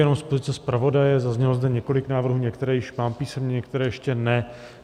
Jenom z pozice zpravodaje: Zaznělo zde několik návrhů, některé již mám písemně, některé ještě ne.